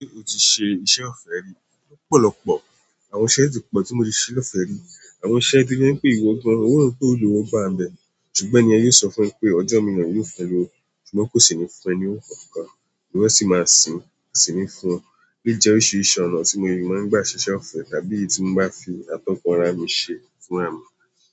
Ṣé o ti ṣe iṣẹ́ ọ̀fẹ́ rí? Lọpọ̀lọ̀pọ̀ àwọn iṣẹ́ tí pọ̀ tí mo ti ṣe lọ́fẹ́ rí. Àwọn iṣẹ́ tó jẹ́ ń pè ìwọ́ gan, ó ń wo pé o rówó gba nbè, ṣùgbọ́n ẹni yẹn lè sọ fún ẹ pé ọjọ́ míìràn òun yóò fún ẹ́ lọ́wọ́, ṣùgbọ́n kò sì ní fún ẹ ní nǹkankan, íwọ́ a sì máa sin ín kò sí ni fún ẹ. Ele yìí jẹ́ oríṣiríṣi ọ̀nà tí mo rí, máa ń gba ṣiṣẹ́ ọ̀fẹ́ tàbí èyí tí mo bá fi atọ́kan ara mi ṣe fúnrà mì.